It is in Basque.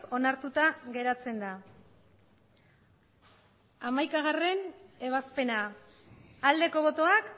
onartuta geratzen da hamaikagarrena ebazpena aldeko botoak